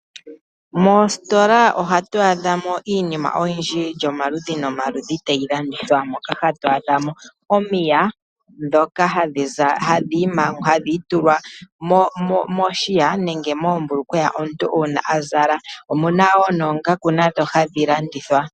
Moositola ohatu adhamo iinima oyindji yilyi omaludhi nomaludhi tayi landithwa mo. Moka hatu adhamo omiya dhoka hadhi itulwa mombunda nenge moombulukweya una omuntu a zala. Omuna wo noongaku hadhi landithwa.